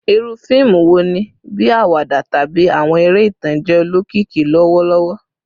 Iru fiimu wo ni, bii awada tabi awọn ere itan, jẹ olokiki lọwọlọwọ?